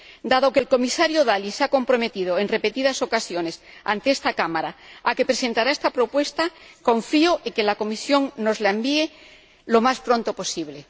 Dado que el Comisario Dalli se ha comprometido en repetidas ocasiones ante esta Cámara a presentar esta propuesta, confío en que la Comisión nos la envíe lo más pronto posible.